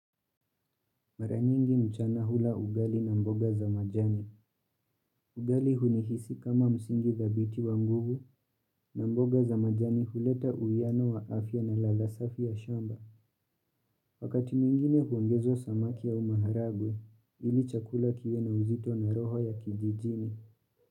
Maranyingi mchana hula ugali na mboga za majani. Ugali hunihisi kama msingi dhabiti wa mguvu na mboga za majani huleta uiano wa afya na ladha safi ya shamba. Wakati mwingine huongezo samaki ya maharagwe ili chakula kiwe na uzito na roho ya kijijini.